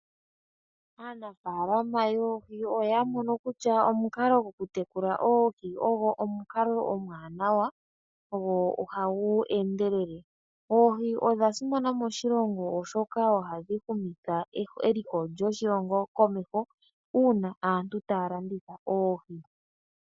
Aanafaalama yoohi oyamono kutya omukalo gwokutekula oohi ogo omukalo omwanawa go ohagu endelele. Oohi odhasimana moshilongo oshoka ohadhi humitha eliko lyoshilongo komeho una aantu taya landitha oohi.